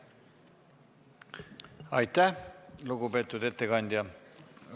Aitäh, lugupeetud ettekandja!